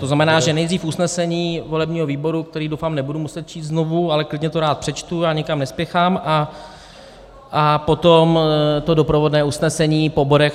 To znamená, že nejdřív usnesení volebního výboru, které, doufám, nebudu muset číst znovu, ale klidně to rád přečtu, já nikam nespěchám, a potom to doprovodné usnesení po bodech.